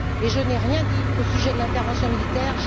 Je n'ai rien dit au sujet de l'intervention militaire.